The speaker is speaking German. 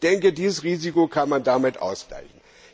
Ich denke, dieses Risiko kann man damit ausgleichen.